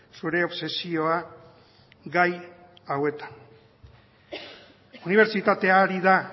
zure obsesioa gai hauetan unibertsitatea ari da